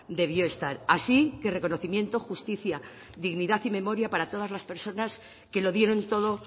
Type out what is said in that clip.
debió estar así que reconocimiento justicia dignidad y memoria para todas las personas que lo dieron todo